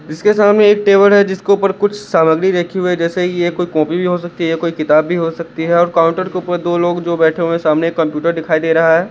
इसके सामने एक टेबल है जिसको पर कुछ सामग्री रखी हुई जैसे ये कोई कॉपी भी हो सकती है कोई किताब भी हो सकती है और काउंटर के ऊपर दो लोग जो बैठे हुए सामने एक कंप्यूटर दिखाई दे रहा है।